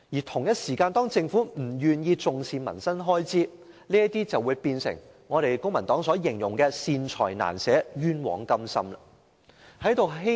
同時，政府不願意重視民生開支，因而出現公民黨所說的"善財難捨，冤枉甘心"的情況。